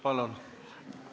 Palun!